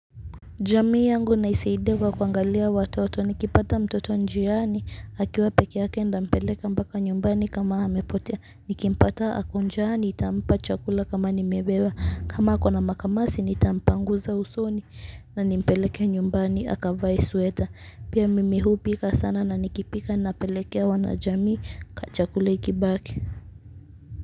Jamii yangu naisaidia kwa kuangalia watoto. Nikipata mtoto njiani akiwa peke yake, nitampeleka mpaka nyumbani kama amepotea. Nikimpata ako njiani, nitampa chakula kama nimebeba, kama akona makamasi nitampangusa usoni. Na nimpeleke nyumbani akavae sweta. Pia mimi hupika sana na nikipika napelekea wanajamii chakula ikibaki.